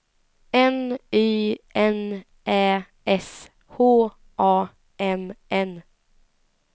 N Y N Ä S H A M N